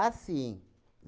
sim.